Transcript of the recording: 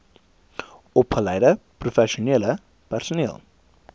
opgeleide professionele personeel